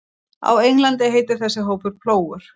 Á Englandi heitir þessi hópur Plógurinn.